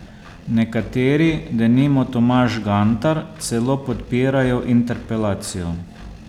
Nekateri, denimo Tomaž Gantar, celo podpirajo interpelacijo.